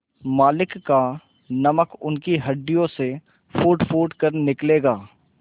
मालिक का नमक उनकी हड्डियों से फूटफूट कर निकलेगा